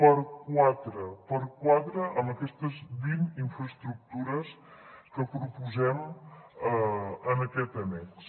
per quatre per quatre amb aquestes vint infraestructures que proposem en aquest annex